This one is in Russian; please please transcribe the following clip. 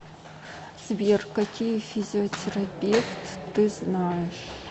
сбер какие физиотерапевт ты знаешь